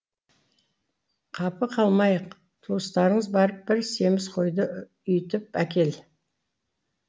қапы қалмайық туыстарыңыз барып бір семіз қойды үйітіп әкел